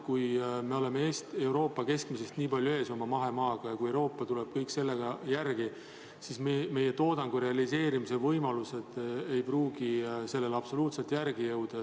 Kui me oleme oma mahemaaga Euroopa keskmisest nii palju ees ja kui Euroopa tuleb kõiges sellega järele, siis meie toodangu realiseerimise võimalused ei pruugi sellele absoluutselt järele jõuda.